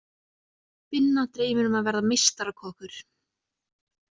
Binna dreymir um að verða meistarakokkur.